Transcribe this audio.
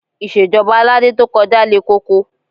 Ìṣèjọba Aládé to kọjá le koko